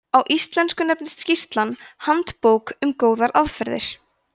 á íslensku nefnist skýrslan handbók um góðar aðferðir